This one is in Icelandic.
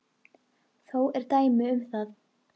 Þó eru dæmi um það.